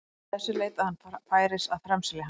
Upp frá þessu leitaði hann færis að framselja hann.